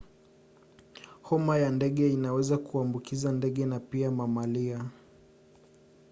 homa ya ndege inaweza kuambukiza ndege na pia mamalia